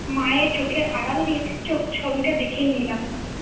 মায়ের চোখে আড়াল দিয়ে চোখ ছবিটা দেখেই নিলাম ৷